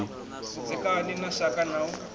vhudzekani na shaka na u